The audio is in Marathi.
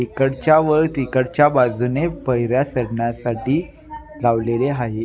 इकडच्या व तिकडच्या बाजुने पहर्या चढण्यासाठी लावलेले आहेत.